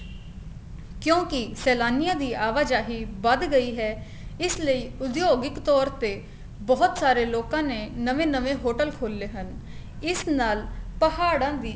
ਕਿਉਂਕਿ ਸੇਲਾਨੀਆਂ ਦੀ ਆਵਾਜਾਈ ਵੱਧ ਗਈ ਹੈ ਇਸ ਲਈ ਉਦਯੋਗਿਕ ਤੋਰ ਤੇ ਬਹੁਤ ਸਾਰੇ ਲੋਕਾ ਨੇ ਨਵੇ ਨਵੇ hotel ਖੋਲੇ ਹਨ ਇਸ ਨਾਲ ਪਹਾੜਾ ਦੀ